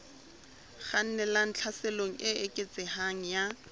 kgannelang tlhaselong e eketsehang ya